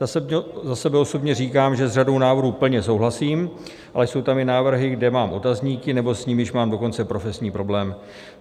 Za sebe osobně říkám, že s řadou návrhů plně souhlasím, ale jsou tam i návrhy, kde mám otazníky, nebo s nimiž mám dokonce profesní problém.